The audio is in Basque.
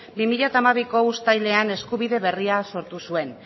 bi mila hamabiko uztailean eskubide berria sortu zuen